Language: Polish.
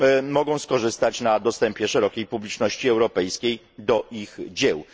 mogą skorzystać na dostępie szerokiej publiczności europejskiej do ich dzieł.